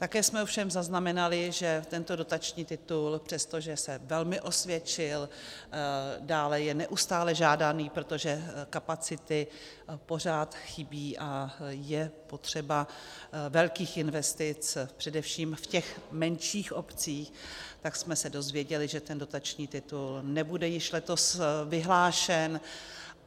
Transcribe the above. Také jsme ovšem zaznamenali, že tento dotační titul přestože se velmi osvědčil, dále je neustále žádaný, protože kapacity pořád chybí a je potřeba velkých investic především v těch menších obcích, tak jsme se dozvěděli, že ten dotační titul nebude již letos vyhlášen.